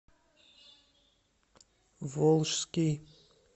волжский